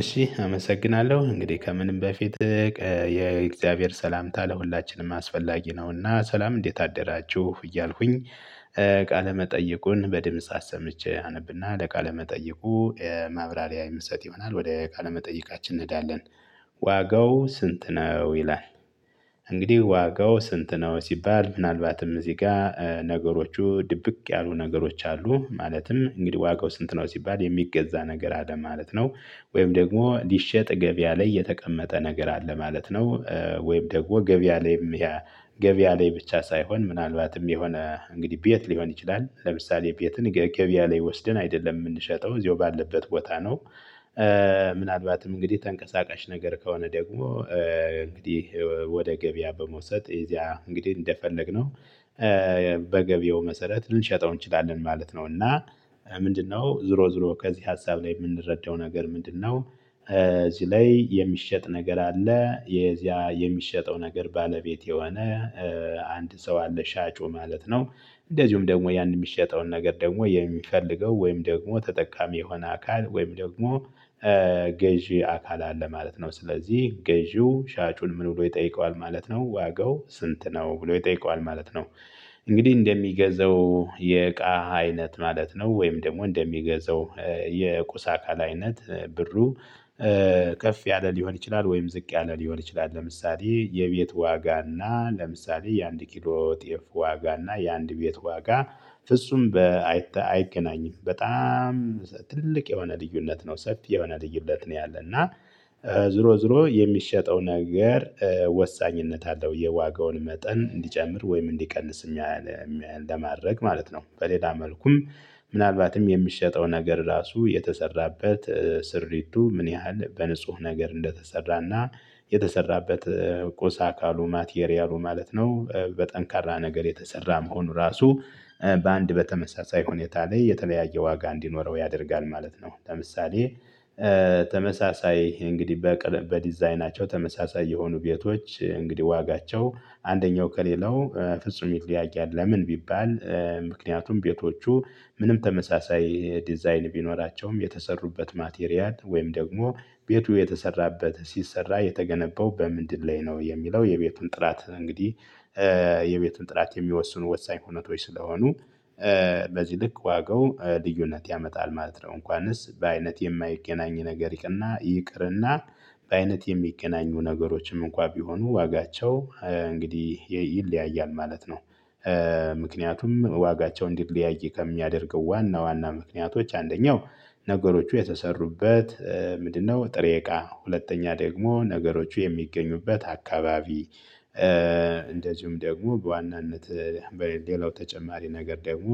እሺ አመሰግናለሁ እንግዲህ ከምንም በፊት የእግዚአብሔር ሰላምታ ለሁላችንም አስፈላጊ ነውና ሰላም እንዴት አደራችሁ እያልኩኝ። ቃለ መጠየቁን በድምጽ አሰምቼ አነብና ለቃለ መጠየቁ ማብራሪያ የምሰጥ ይሆናል። ወደ ቃለ መጠየቃችን እንሄዳለን። ዋጋው ስንት ነው ይላል? እንግዲህ ዋጋው ስንት ነው ሲባል ምናልባትም እዚህ ጋር ነገሮቹ ድብቅ ያሉ ነገሮች አሉ ማለትም እንግዲህ ዋጋው ስንት ነው ሲባል የሚገዛ ነገር አለ ማለት ነው። ወይም ደግሞ ሊሸጥ ገበያ ላይ የተቀመጠ ነገር አለ ማለት ነው። ወይም ደግሞ ገበያ ላይም ገበያ ላይ ብቻ ሳይሆን ምናልባትም የሆነ እንግዲህ ቤት ሊሆን ይችላል ለምሳሌ ቤትን ገበያ ላይ ወስደን አይደለም የምንሸጠው እዚሁ ባለበት ቦታ ነው። ምናልባትም እንግዲህ ተንቀሳቃሽ ነገር ከሆነ ደግሞ እንግዲህ ወደ ገበያ በመውሰድ እዚያ እንግዲህ እንደፈለግነው በገበያው መሰረት ልንሸጠው እንችላለን ማለት ነው። እና ምንድነው ዞሮ ዞሮ ከዚህ ሀሳብ ላይ የምንረዳው ነገር ምንድነው? እዚህ ላይ የሚሸጥ ነገር አለ የዚያ የሚሸጠው ነገር ባለቤት የሆነ አንድ ሰው አለ ሻጩ ማለት ነው። እንደዚሁም ደግሞ ያን የሚሸጠውን ነገር ደግሞ የሚፈልገው ወይም ደግሞ ተጠቃሚ የሆነ አካል ወይም ደግሞ ገዢ አካል አለ ማለት ነው። ስለዚህ ገዢው ሻጩን ምን ውሎ ይጠይቀዋል ማለት ነው ዋጋው ስንት ነው ብሎ ይጠይቀዋል ማለት ነው። እንግዲህ እንደሚገዛው የእቃ አይነት ማለት ነው ወይም ደግሞ እንደሚገዛው የቁሳ አቃል አይነት ብሩ ከፍ ያለ ሊሆን ይችላል ወይም ዝቅ ያለ ሊሆን ይችላል ለምሳሌ የቤት ዋጋ እና ለምሳሌ የአንድ ኪሎ የጤፍ ዋጋ እና የአንድ ቤት ዋጋ ፍጹም አይገናኝም በጣም ትልቅ የሆነ ልዩነት ነው። ሰፊ የሆነ ልዩነት ነው ያለና ዝሮ ዝሮ የሚሸጠው ነገር ወሳኝነት አለው የዋጋውን መጠን እንዲጨምር ወይም እንዲቀንስ ለማድረግ ማለት ነው። በሌላ መልኩም ምናልባትም የሚሸጠው ነገር ራሱ የተሰራበት ስሪቱ ምን ያህል በንጹህ ነገር እንደተሰራና የተሰራበት ቆሳ አካሉ ማቴሪያሉ ማለት ነው በጠንካራ ነገር የተሰራ መሆኑ ራሱ በአንድ በተመሳሳይ ሁኔታ ላይ የተለያየ ዋጋ እንዲኖረው ያደርጋል ማለት ነው። ለምሳሌ ተመሳሳይ እንግዲህ በዲዛይናቸው ተመሳሳይ የሆኑ ቤቶች እንግዲህ ዋጋቸው አንደኛው ከሌለው ፍጹም ይለያያል። ለምን ቢባል ምክንያቱም ቤቶቹ ምንም ተመሳሳይ ዲዛይን ቢኖራቸውም የተሰሩበት ማቴሪያል ወይም ደግሞ ቤቱ የተሰራበት ሲሰራ የተገነባው በምንድን ላይ ነው የሚለው የቤቱን ጥራት እንግዲህ የቤቱን ጥላት የሚወስኑ ወሳኝ ሁኔታ ስለሆኑ በዚህ ልክ ዋጋው ልዩነት ያመጣል ማለት ነው። እንኳንስ በአይነት የማይቀናኝ ነገር ይቅርና ይቅርና በአይነት የሚቀናኙ ነገሮችም እንኳን ቢሆኑ ዋጋቸው እንግዲህ ይለያያል ማለት ነው። ምክንያቱም ዋጋቸው እንዲለያይ ከሚያደርገው ዋና ዋና ምክንያቶች አንደኛው ነገሮቹ የተሰሩበት ምንድነው ጥሬ እቃ ሁለተኛ ደግሞ ነገሮቹ የሚገኙበት አካባቢ እንደዚሁም ደግሞ በዋናነት በሌላው ተጨማሪ ነገር ደግሞ